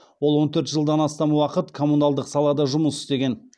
ол он төрт жылдан астам уақыт коммуналдық салада жұмыс істеген